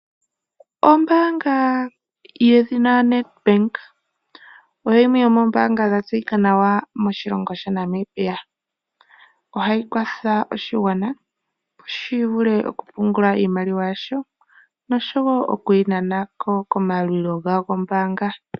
Ombaanga yedhina Nedbank oyo yimwe yomoombanga dhatseyika nawa moshilongo shaNamibia. Ohayi kwatha oshigwana opo shivule okupungula iimaliwa yasho nosho wo okuyinana ko komayalulilo gawo gombaanga.